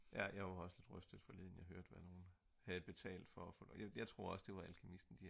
ja jeg var også lidt rystet forleden jeg hørte hvad nogle havde betalt for at få jeg tror også det var alkymisten